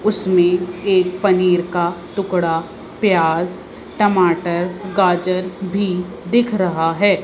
उसमें एक पनीर का टुकड़ा प्याज टमाटर गाजर भी दिख रहा है।